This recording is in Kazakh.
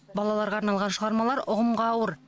балаларға арналған шығармалар ұғымға ауыр